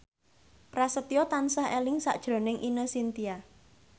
Prasetyo tansah eling sakjroning Ine Shintya